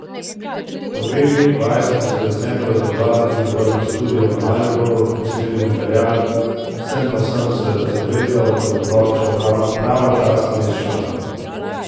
Po dveh dneh vaj smo se decembra za dva dni zaprli v studio v Mariboru, posneli material, sam pa sem se zavezal, da bo plošča pravočasno izšla.